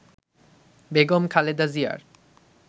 বেগম খালেদা জিয়ার